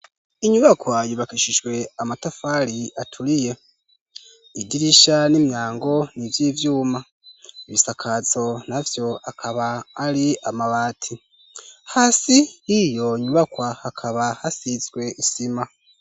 Inyubakwa yubakishijwe amatafari aturiye, idirisha n'imyango vy'ivyuma. Ibisakazo navyo akaba ari amabati. Hasi iyo nyubakwa akaba hasizwe isima.